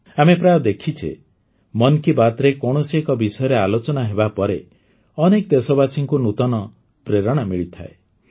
ଆମେ ପ୍ରାୟ ଦେଖିଛେ ମନ୍ କି ବାତ୍ରେ କୌଣସି ଏକ ବିଷୟରେ ଆଲୋଚନା ହେବାପରେ ଅନେକ ଦେଶବାସୀଙ୍କୁ ନୂତନ ପ୍ରେରଣା ମିଳିଥାଏ